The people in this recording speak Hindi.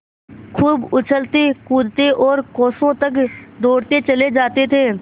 खूब उछलतेकूदते और कोसों तक दौड़ते चले जाते थे